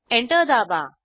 enter दाबा